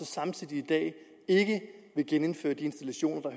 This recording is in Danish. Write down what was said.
samtidig ikke vil genindføre de installationer